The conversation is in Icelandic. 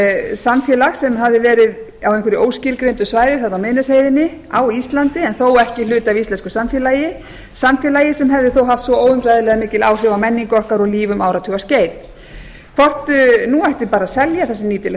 samfélag sem hafði verið á einhverju óskilgreindu svæði þarna á miðnesheiðinni á íslandi en þó ekki hluti af íslensku samfélagi samfélagi sem hefði haft svo óumræðilega mikil áhrif á menningu okkar og líf um áratuga skeið hvort nú ætti bara að selja það sem nýtilegt